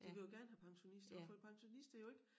De vil jo gerne have pensionister og for pensionister jo ikke